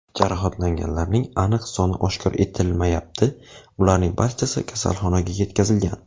Jarohatlanganlarning aniq soni oshkor etilmayapti, ularning barchasi kasalxonaga yetkazilgan.